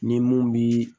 Ni mun bi